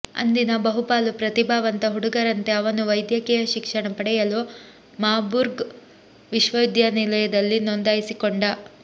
ಅಂದಿನ ಬಹುಪಾಲು ಪ್ರತಿಭಾವಂತ ಹುಡುಗರಂತೆ ಅವನೂ ವೈದ್ಯಕೀಯ ಶಿಕ್ಷಣ ಪಡೆಯಲು ಮಾರ್ಬುರ್ಗ್ ವಿಶ್ವವಿದ್ಯಾನಿಲಯದಲ್ಲಿ ನೋಂದಾಯಿಸಿಕೊಂಡ